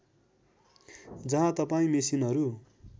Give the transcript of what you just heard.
जहाँ तपाईँ मेसिनहरू